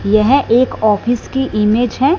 यह एक ऑफिस की इमेज़ है।